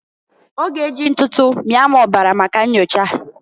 Ọ g'e ji ntụtụ mịa m ọbara maka nnyocha.